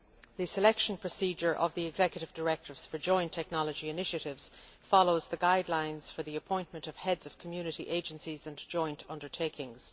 The procedure for selecting the executive directors for joint technology initiatives follows the guidelines for the appointment of heads of community agencies and joint undertakings.